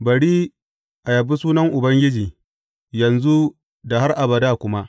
Bari a yabi sunan Ubangiji, yanzu da har abada kuma.